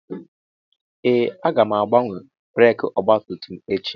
Ee! Aga m agbanwe breekị ọgbatumtum echi.